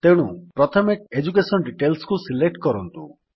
ତେଣୁ ପ୍ରଥମେ ଏଡୁକେସନ Detailsକୁ ସିଲେକ୍ଟ କରନ୍ତୁ